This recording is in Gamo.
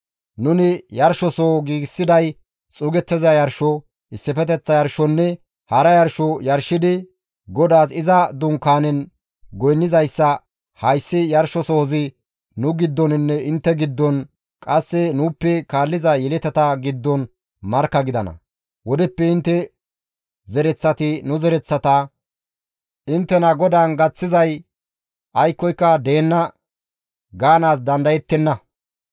Nuni yarshosoho giigsiday xuugettiza yarsho, issifeteththa yarshonne hara yarsho yarshidi, GODAAS iza Dunkaanen goynnizayssa hayssi yarshosohozi nu giddoninne intte giddon, qasse nuuppe kaalliza yeletata giddon markka gidana. Wodeppe intte zereththati nu zereththata, ‹Inttena GODAAN gaththizay aykkoyka deenna› gaanaas dandayettenna.